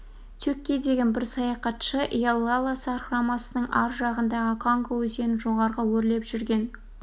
тюккей деген бір саяхатшы иеллала сарқырамасының аржағындағы конго өзенін жоғары өрлеп жүрген